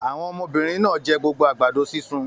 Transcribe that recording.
Àwọn ọmọbìnrin náà jẹ gbogbo àgbàdo sísun?